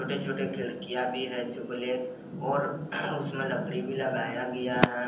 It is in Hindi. छोटे छोटे खिड़कियां भी है जो ब्लैक और उसमें लकड़ी भी लगाया गया है।